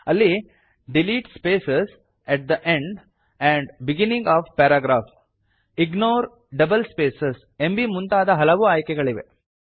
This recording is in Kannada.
ಅಲ್ಲಿ delete space at the end and beginning of paragraph ignore double space ಎಂಬೀ ಮುಂತಾದ ಹಲವು ಆಯ್ಕೆಗಳಿವೆ